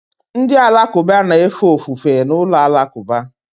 Ndị Alakụba na-efe ofufe n'ụlọ alakụba